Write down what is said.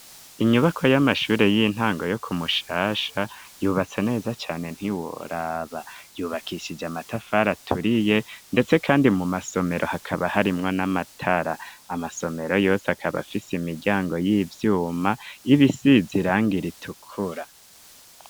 Inyubako y'amashuri y'intango yo ku Mushasha yubatse neza cane ntiworaba yubakishije amatafari aturiye ndetse kandi mu masomero hakaba harimwo n'amatara amasomero yose akaba afise imiryango y'ivyuma y'ibisize irangi ritukura.